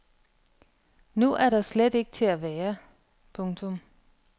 Nu er der slet ikke til at være. punktum